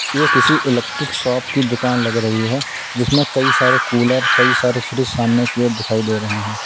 यह किसी electric shop की दुकान लग रही है जिसमें कई सारे कूलर कई सारे फ्रीज सामने की ओर दिखाई दे रहे हैं।